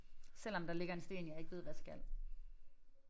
Selvom der ligger en sten jeg ikke ved hvad skal